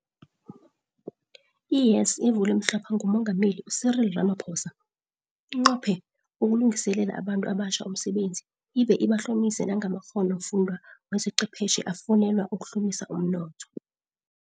I-YES, evulwe mhlapha ngu Mengameli u-Cyril Ramaphosa, inqophe ukulungiselela abantu abatjha umsebenzi ibe ibahlomise nangamakghono fundwa wezechwephetjhe afunelwa ukuhlumisa u mnotho.